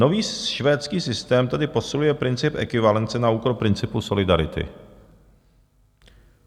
Nový švédský systém tedy posiluje princip ekvivalence na úkor principu solidarity.